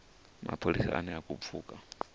mapholisa ane a khou pfuka